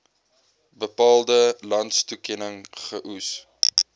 bepaalde landstoekenning geoes